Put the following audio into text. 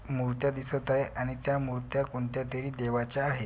मुर्त्या दिसत आहे आणि त्या मुर्त्या कोणत्या तरी देवाच्या आहे.